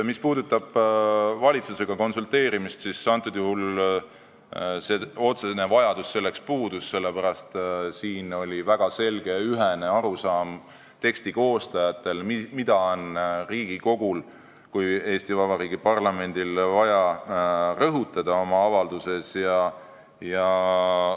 Mis puudutab valitsusega konsulteerimist, siis antud juhul otsene vajadus selleks puudus, sest siin oli teksti koostajatel väga selge ja ühene arusaam, mida on Riigikogul kui Eesti Vabariigi parlamendil vaja oma avalduses rõhutada.